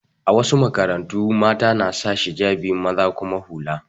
A wasu makarantu, mata na saka hijabi maza kuma hula.